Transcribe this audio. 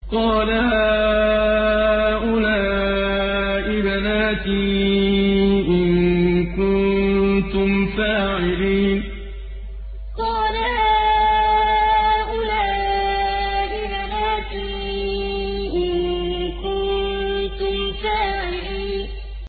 قَالَ هَٰؤُلَاءِ بَنَاتِي إِن كُنتُمْ فَاعِلِينَ قَالَ هَٰؤُلَاءِ بَنَاتِي إِن كُنتُمْ فَاعِلِينَ